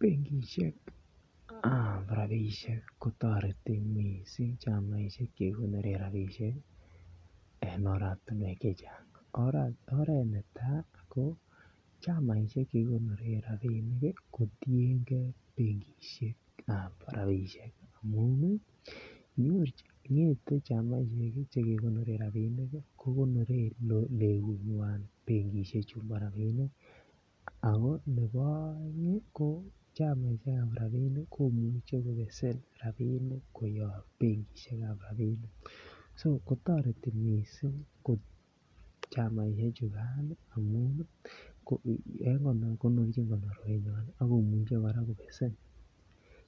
Benkisiek ab rabisiek kotoretech mising chamaisiek Che kigonoren rabisiek en oratinwek Che Chang oret netai ko chamaisiek Che kigonoren rabinik kotienge benkisiek ab rabisiek amun ngete chamaisiek Che kegonoren rabisiek kogonoren legunywan benkisiek chu bo rabinik ako nebo aeng ko chamaisiek ab rabinik komuche kobesen rabinik koyob benkisiek ab rabinik so kotoreti mising chamaisiek chugan amun konorchin konorwenywan ak komuche kora kobesen